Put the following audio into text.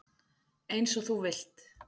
Eins og þú vilt.